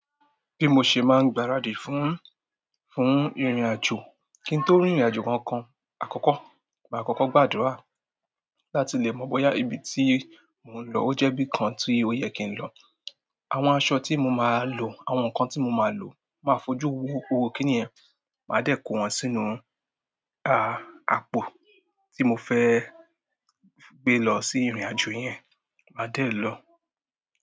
Bí mo ṣe máa ń gbaradì fún, fún ìrìnàjò, kí n tó rìnrìnàjò kankan àkọ́kọ́, mà á kọ́kọ́ gbàdúrà láti lè mọ bóyá ibi tí mò ń lọ ó jẹ́ bí i kan tí ó yẹ kí n lọ. Àwọn aṣọ tí mo máa lò, àwọn nǹkan tí mo máa lò, máa fojú wo gbogbo kíni yẹ̀n, mà á dẹ́ ko wọ́n sínú ah, àpò tí mo fẹ́ gbé lọ sí ìrìnàjò yẹn, mà á dẹ̀ lọ.